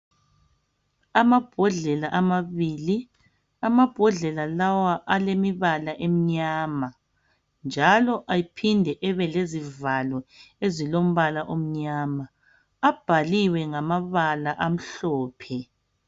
Amabhodlela amabili amabhodlela lawa alemibala emnyama njalo aphinde ebe lezivalo ezilombala omnyama abhaliwe ngamabala amhlophe.